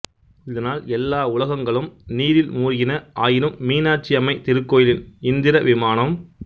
இதனால் எல்லா உலகங்களும் நீரில் மூழ்கின ஆயினும் மீனாட்சியம்மை திருக்கோயிலின் இந்திரவிமானம்